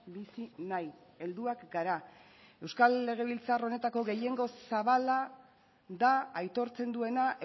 bizi nahi helduak gara euskal legebiltzar honetako gehiengo zabala da aitortzen duena